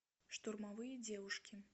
штурмовые девушки